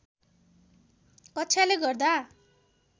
कक्षाले गर्दा